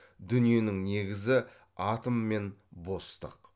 дүниенің негізі атом мен бостық